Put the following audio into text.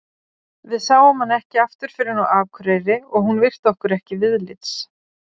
Við sáum hana ekki aftur fyrr en á Akureyri og hún virti okkur ekki viðlits.